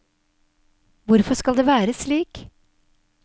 Hvorfor skal det være slik?